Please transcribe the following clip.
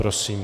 Prosím.